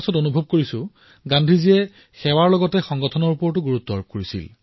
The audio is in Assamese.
মই কব পাৰো যে গান্ধীয়ে সেৱা মনোভাৱেৰে সাংগাঠনিকভাৱকো গুৰুত্ব প্ৰদান কৰিছিল